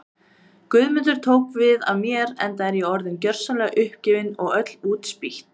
Guðmundur tók við af mér enda var ég orðin gjörsamlega uppgefin og öll útspýtt.